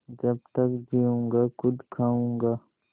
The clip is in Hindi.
जब तक जीऊँगा खुद खाऊँगा